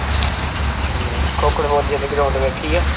ਹਮ ਕੋਕੜਬੋਲੀ ਵਾਲੀ ground ਵੇਖੀ ਆ